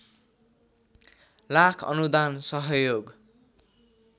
लाख अनुदान सहयोग